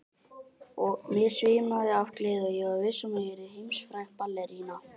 Mig svimaði af gleði og ég var viss um að ég yrði heimsfræg ballerína.